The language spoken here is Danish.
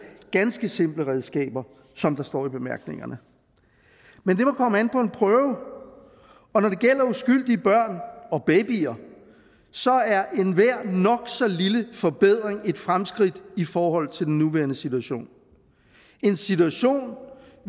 ganske simple redskaber som der står i bemærkningerne men det må komme an på en prøve og når det gælder uskyldige børn og babyer så er enhver nok så lille forbedring et fremskridt i forhold til den nuværende situation en situation